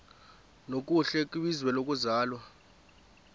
nokuhle kwizwe lokuzalwa